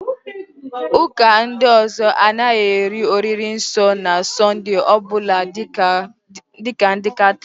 Ụ́kà ndị ọzọ a naghị eri oriri nsọ na Sọnde ọbụla dịka ndị Katọliki